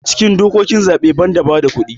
a cikin dokokin zaɓe ban da bada kudin